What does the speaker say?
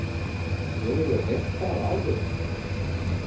Hefurðu heyrt það áður?